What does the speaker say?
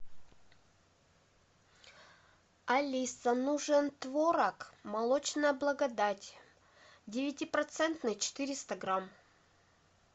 алиса нужен творог молочная благодать девятипроцентный четыреста грамм